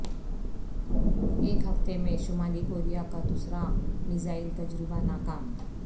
ایک ہفتے میں شمالی کوریا کا دوسرا میزائل تجربہ ناکام